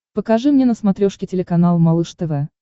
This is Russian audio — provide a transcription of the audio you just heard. покажи мне на смотрешке телеканал малыш тв